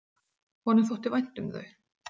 Honum þótti vænt um þau.